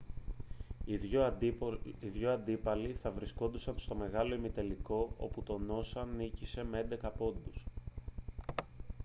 οι δύο αντίπαλοι θα βρισκόντουσαν στον μεγάλο ημιτελικό όπου το noosa νίκησε με 11 πόντους